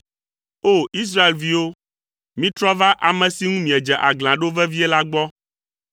O! Israelviwo, mitrɔ va ame si ŋu miedze aglã ɖo vevie la gbɔ,